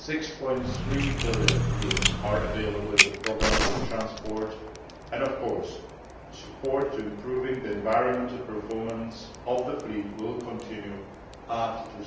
6.3 billion are available in the programme for transport and, of course, support for improving the environmental performance of the fleet will continue after